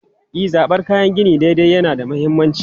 E, zabar kayan gini daidai yana da mahimmanci.